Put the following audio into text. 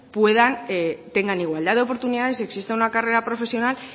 tengan igualdad de oportunidades exista una carrera profesional